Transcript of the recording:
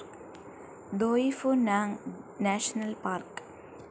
Doi Phu Nang national park